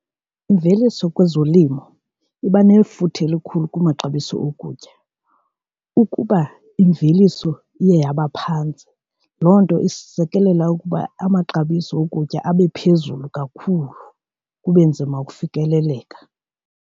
Imveliso kwezolimo iba nefuthe elikhulu kumaxabiso okutya, ukuba imveliso iye yaba phantsi loo nto isekelela ukuba amaxabiso okutya abe phezulu kakhulu kube nzima ukufikeleleka.